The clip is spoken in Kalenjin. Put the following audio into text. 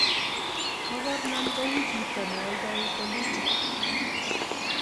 mokornon kou chito ne oldoi bolutik